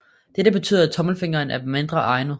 Dette betyder at tommelfingeren er mindre egnet